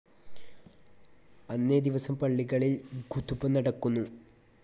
അന്നേ ദിവസം പള്ളികളിൽ ഖുതുബ നടക്കുന്നു.